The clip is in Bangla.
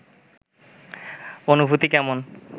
অনুভূতি কেমন